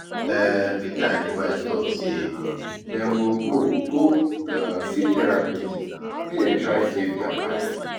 um Peter and im wife talk say dem go go go um see therapist make dem try save their marriage